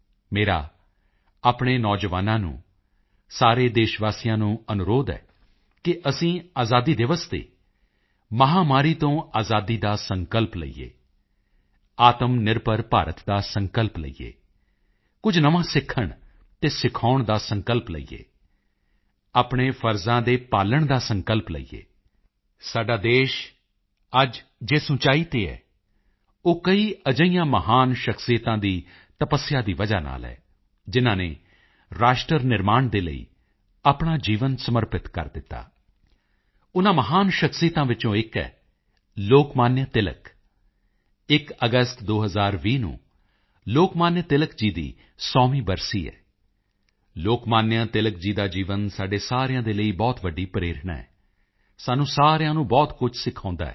ਮੇਰਾ ਆਪਣੇ ਨੌਜਵਾਨਾਂ ਨੂੰ ਸਾਰੇ ਦੇਸ਼ ਵਾਸੀਆਂ ਨੂੰ ਅਨੁਰੋਧ ਹੈ ਕਿ ਅਸੀਂ ਆਜ਼ਾਦੀ ਦਿਵਸ ਤੇ ਮਹਾਮਾਰੀ ਤੋਂ ਆਜ਼ਾਦੀ ਦਾ ਸੰਕਲਪ ਲਈਏ ਆਤਮਨਿਰਭਰ ਭਾਰਤ ਦਾ ਸੰਕਲਪ ਲਈਏ ਕੁਝ ਨਵਾਂ ਸਿੱਖਣ ਅਤੇ ਸਿਖਾਉਂਣ ਦਾ ਸੰਕਲਪ ਲਈਏ ਆਪਣੇ ਫ਼ਰਜ਼ਾਂ ਦੇ ਪਾਲਣ ਦਾ ਸੰਕਲਪ ਲਈਏ ਸਾਡਾ ਦੇਸ਼ ਅੱਜ ਜਿਸ ਉਚਾਈ ਤੇ ਹੈ ਉਹ ਕਈ ਅਜਿਹੀਆਂ ਮਹਾਨ ਸ਼ਖਸੀਅਤਾਂ ਦੀ ਤਪੱਸਿਆ ਦੀ ਵਜ੍ਹਾ ਨਾਲ ਹੈ ਜਿਨ੍ਹਾਂ ਨੇ ਰਾਸ਼ਟਰ ਨਿਰਮਾਣ ਦੇ ਲਈ ਆਪਣਾ ਜੀਵਨ ਸਮਰਪਿਤ ਕਰ ਦਿੱਤਾ ਉਨ੍ਹਾਂ ਮਹਾਨ ਸ਼ਖਸੀਅਤਾਂ ਵਿੱਚੋਂ ਇਕ ਹੈ ਲੋਕਮਾਨਯ ਤਿਲਕ 1 ਅਗਸਤ 2020 ਨੂੰ ਲੋਕਮਾਨਯ ਤਿਲਕ ਜੀ ਦੀ 100ਵੀਂ ਬਰਸੀ ਹੈ ਲੋਕਮਾਨਯ ਤਿਲਕ ਜੀ ਦਾ ਜੀਵਨ ਸਾਡੇ ਸਾਰਿਆਂ ਦੇ ਲਈ ਬਹੁਤ ਵੱਡੀ ਪ੍ਰੇਰਣਾ ਹੈ ਸਾਨੂੰ ਸਾਰਿਆਂ ਨੂੰ ਬਹੁਤ ਕੁਝ ਸਿਖਾਉਂਦਾ ਹੈ